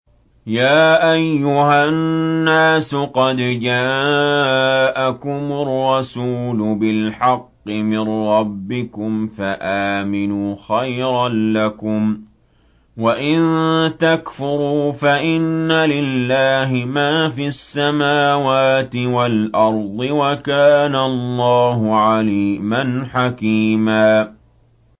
يَا أَيُّهَا النَّاسُ قَدْ جَاءَكُمُ الرَّسُولُ بِالْحَقِّ مِن رَّبِّكُمْ فَآمِنُوا خَيْرًا لَّكُمْ ۚ وَإِن تَكْفُرُوا فَإِنَّ لِلَّهِ مَا فِي السَّمَاوَاتِ وَالْأَرْضِ ۚ وَكَانَ اللَّهُ عَلِيمًا حَكِيمًا